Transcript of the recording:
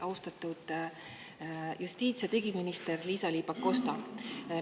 Austatud justiits‑ ja digiminister Liisa-Ly Pakosta!